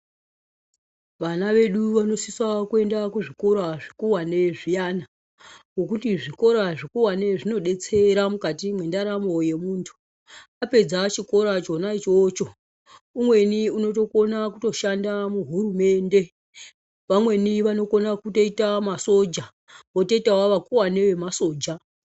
Vana vedu vanosisa kuenda kuzvikora zvikuwani zviyana ,ngokuti zvikora zvikuwani zvinodetsera mukati mwendaramo yemuntu. Apedza chikora chona ichocho, umweni unotokona kutoshanda muhurumende. Vamweni vanokona kutoita masoja, votoitawo vakuwani vemasoja.